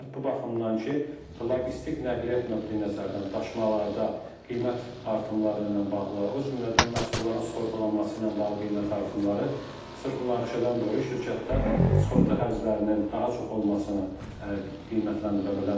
Bu baxımdan ki, logistik, nəqliyyat nöqteyi-nəzərdən daşımalarda qiymət artımları ilə bağlı, o cümlədən məhsulların sığortalanması ilə bağlı qiymət artımları sırf münaqişədən dolayı şirkətlər sığorta xərclərinin daha çox olmasını qiymətləndirə bilərlər.